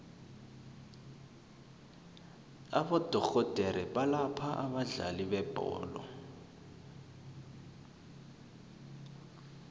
abodorhodere abalapha abadlali bebholo